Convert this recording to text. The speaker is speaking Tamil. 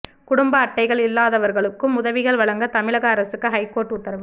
குடும்ப அட்டைகள் இல்லாதவர்களுக்கும் உதவிகள் வழங்க தமிழக அரசுக்கு ஹைகோர்ட் உத்தரவு